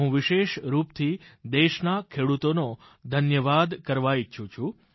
હું વિશેષ રૂપથી દેશના ખેડૂતોનો ધન્યવાદ કરવા ઈચ્છું છું